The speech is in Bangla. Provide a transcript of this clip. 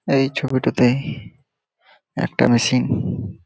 এই ছবিটাতে-এহ একটা মেশিন --